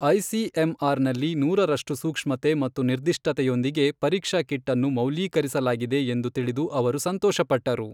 ICMR ನಲ್ಲಿ ನೂರರಷ್ಟು ಸೂಕ್ಷ್ಮತೆ ಮತ್ತು ನಿರ್ದಿಷ್ಟತೆಯೊಂದಿಗೆ ಪರೀಕ್ಷಾ ಕಿಟ್ ಅನ್ನು ಮೌಲ್ಯೀಕರಿಸಲಾಗಿದೆ ಎಂದು ತಿಳಿದು ಅವರು ಸಂತೋಷಪಟ್ಟರು.